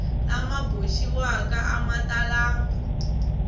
lama boxiwaka a ma talangi